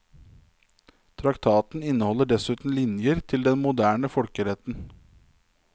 Traktaten inneholder dessuten linjer til den moderne folkeretten.